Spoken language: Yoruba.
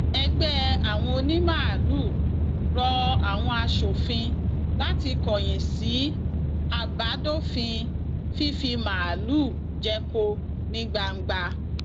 ẹgbẹ àwọn onímaalùú rọ àwọn aṣòfin láti kọyìn sí àbádòfin fífi màálùú jẹko ní gbangba